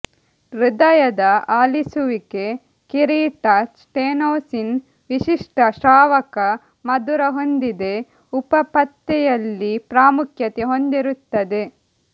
ಹೃದಯದ ಅಲಿಸುವಿಕೆ ಕಿರೀಟ ಸ್ಟೆನೋಸಿಸ್ ವಿಶಿಷ್ಟ ಶ್ರಾವಕ ಮಧುರ ಹೊಂದಿದೆ ಉಪ ಪತ್ತೆಯಲ್ಲಿ ಪ್ರಾಮುಖ್ಯತೆ ಹೊಂದಿರುತ್ತದೆ